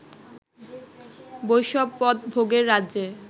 বৈষ্ণব পদ ভোগের রাজ্যে